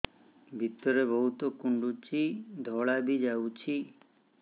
ଭିତରେ ବହୁତ କୁଣ୍ଡୁଚି ଧଳା ବି ଯାଉଛି